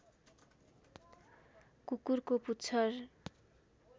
कुकुरको पुच्छर